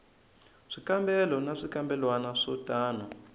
swikambelo na swikambelwana swo tano